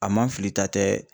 A man filita tɛ